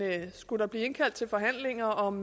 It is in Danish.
skulle der blive indkaldt til forhandlinger om